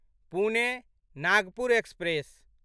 Pune Nagpur express